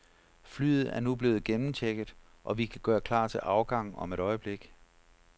Flyet er nu blevet gennemchecket, og vi kan gøre klar til afgang om et øjeblik.